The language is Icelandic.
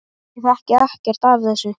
Ég þekki ekkert af þessu.